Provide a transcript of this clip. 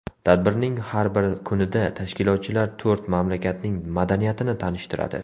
Tadbirning har bir kunida tashkilotchilar to‘rt mamlakatning madaniyatini tanishtiradi.